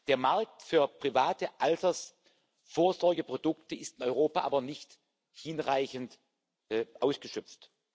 Der Markt für private Altersvorsorgeprodukte ist in Europa aber nicht hinreichend ausgeschöpft.